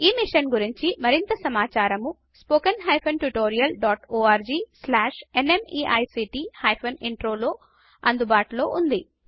ఈ మిషన్ గురించి మరింత సమాచారము spoken hyphen tutorial dot org slash NMEICT hyphen intro వద్ద అందుబాటులో ఉంది